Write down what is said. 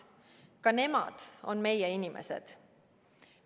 Ka nemad on meie inimesed.